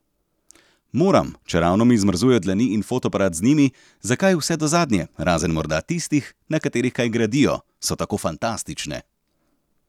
Moram, čeravno mi zmrzujejo dlani in fotoaparat z njimi, zakaj vse do zadnje, razen morda tistih, na katerih kaj gradijo, so tako fantastične.